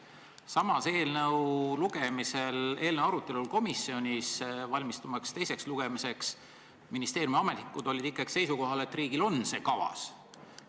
Samas eelnõu arutamisel komisjonis, valmistumaks teiseks lugemiseks, ministeeriumi ametnikud olid ikkagi seisukohal, et riigil on see kavas.